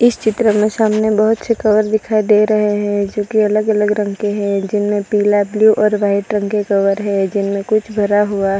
इस चित्र में सामने बहुत से कवर दिखाई दे रहे है जो कि अलग अलग रंग के है जिनमें पिला ब्ल्यू और व्हाईट रंग के कवर है जिनमें कुछ भरा हुआ --